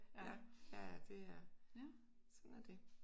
Ja. Ja ja det er. Sådan er det